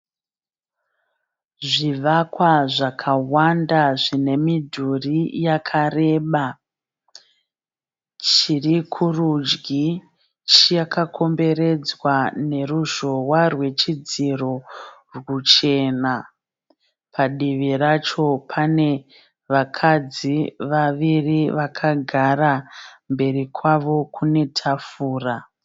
Zvivakwa zvakawanda zvine midhuri yakareba. Chiri kurudyi chakakomberedzwa neruzhowa rwechidziro rwuchena. Padivi racho pane vakadzi vaviri vakagara. Mberi kwavo kune tafura.